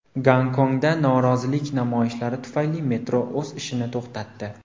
Gonkongda norozilik namoyishlari tufayli metro o‘z ishini to‘xtatdi.